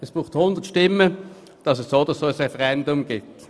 Es braucht 100 Stimmen, damit es so oder so ein Referendum gibt.